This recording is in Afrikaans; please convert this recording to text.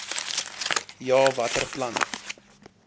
ja watter planne